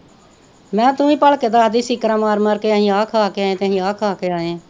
ਮੈਂ ਕਿਹਾ ਤੂੰ ਹੀ ਭਲਕੇ ਦੱਸਦੀ ਸੀ ਮਾਰ ਮਾਰ ਕੇ ਅਸੀਂ ਖਾ ਕੇ ਆਏ ਹਾਂ ਤੇ ਅਸੀਂ ਆਹ ਖਾ ਕੇ ਆਏ ਹਾਂ